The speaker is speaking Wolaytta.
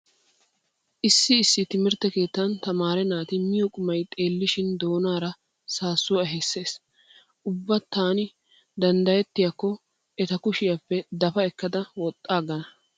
Issi issi timirtte keettan tamaare naati miyo qumay xeellishin doonaara saassuwa ehissees. Ubba taani danddayettiyakko eta kushiyappe dafa ekkada woxxaaggana.